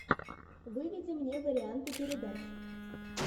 выведи мне варианты передач